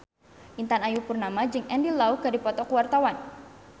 Intan Ayu Purnama jeung Andy Lau keur dipoto ku wartawan